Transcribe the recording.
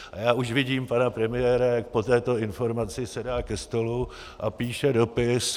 A já už vidím pana premiéra, jak po této informaci sedá ke stolu a píše dopis: